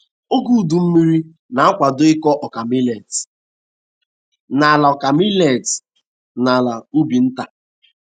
Oge udu mmiri na-kwado ịkọ ọka milet n'ala ọka milet n'ala ubi nta.